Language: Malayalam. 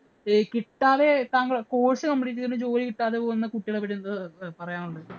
കിട്ടാതെ താങ്കൾ, course complete ചെയ്തിട്ട് ജോലി കിട്ടാതെ പോകുന്ന പോകുന്ന കുട്ടികളെ പറ്റി താങ്കള്‍ക്കു എന്താ പറയാന്‍ ഉള്ളേ?